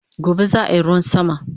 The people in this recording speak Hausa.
Gobe zaayi ruwan sama